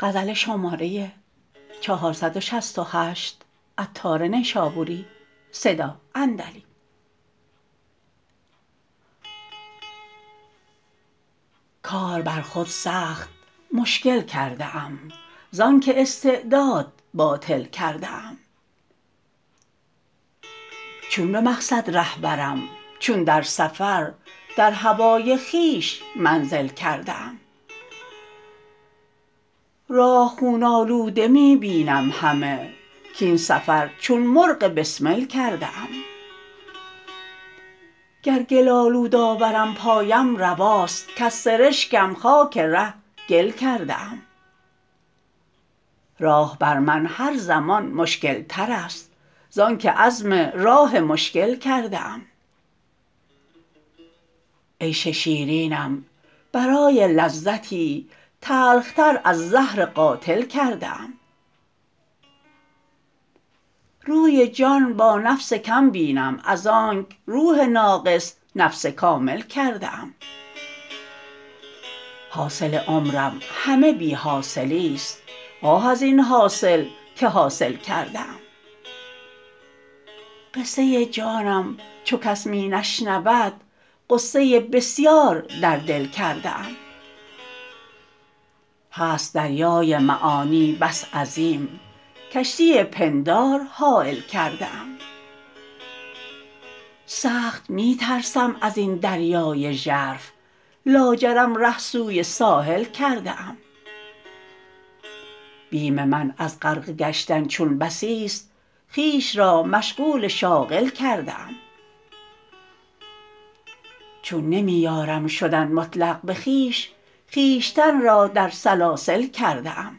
کار بر خود سخت مشکل کرده ام زانکه استعداد باطل کرده ام چون به مقصد ره برم چون در سفر در هوای خویش منزل کرده ام راه خون آلوده می بینم همه کین سفر چون مرغ بسمل کرده ام گر گل آلود آورم پایم رواست کز سرشکم خاک ره گل کرده ام راه بر من هر زمان مشکلتر است زانکه عزم راه مشکل کرده ام عیش شیرینم برای لذتی تلخ تر از زهر قاتل کرده ام روی جان با نفس کم بینم از آنک روح ناقص نفس کامل کرده ام حاصل عمرم همه بی حاصلی است آه از این حاصل که حاصل کرده ام قصه جانم چو کس می نشنود غصه بسیار در دل کرده ام هست دریای معانی بس عظیم کشتی پندار حایل کرده ام سخت می ترسم ازین دریای ژرف لاجرم ره سوی ساحل کرده ام بیم من از غرقه گشتن چون بسی است خویش را مشغول شاغل کرده ام چون نمی یارم شدن مطلق به خویش خویشتن را در سلاسل کرده ام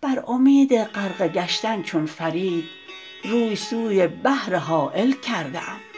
بر امید غرقه گشتن چون فرید روی سوی بحر هایل کرده ام